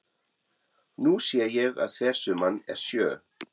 Nú sé ég að þversumman er sjö.